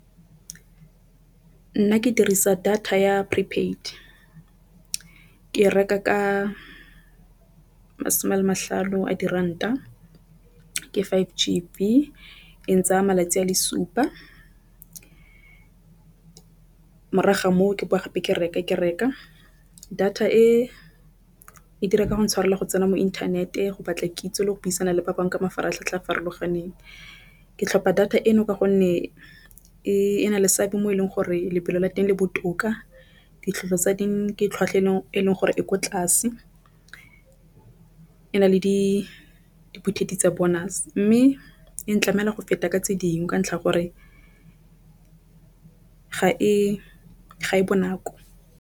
Nna ke dirisa data ya prepaid ke e reka ka masome ale matlhano a diranta ke five GB e ntsaya malatsi a le supa. Morago ga moo ke boa gape ke reka data e e di reka go intshwarela go tsena mo inthaneteng go batla kitso le go buisana le ba bangwe ka mafaratlhatlha a a farologaneng. Ke tlhopha data eno ka gonne e na le seabe mo e leng gore lebelo la teng le botoka tsa teng ke tlhwatlhwa e e leng gore e ko tlase. E na le dibothito tsa bonus mme e ntlamela go feta ka tse dingwe ka ntlha gore ga e ga e bonako.